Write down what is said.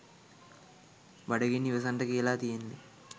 බඩගින්න ඉවසන්ට කියල තියෙන්නේ